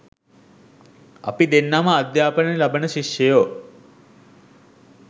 අපි දෙන්නම අධ්‍යාපනය ලබන ශිෂ්‍යයෝ